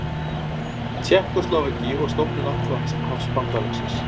Tékkóslóvakíu og stofnun Atlantshafsbandalagsins.